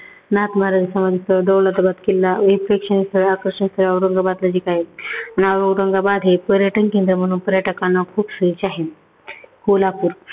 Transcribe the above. , दौलताबाद किल्ला, अनेक प्रेक्षणीय स्थळ, आकर्षण स्थळ औरंगाबाद मध्ये आहेत. आणि औरंगाबाद हे पर्यटनकेंद्र म्हणून पर्यटकांना खूप सोयीचे आहे. कोल्हापूर